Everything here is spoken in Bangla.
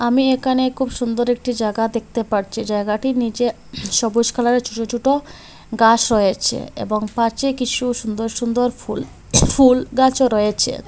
আমি একানে খুব সুন্দর একটি জাগা দেখতে পারছি জায়গাটি নীচে সবুজ কালারের ছোট ছোট গাস রয়েচে এবং পারচে কিসু সুন্দর সুন্দর ফুল ফুল গাছও রয়েচে।